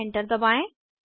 enter दबाएं